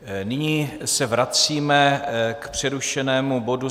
Nyní se vracíme k přerušenému bodu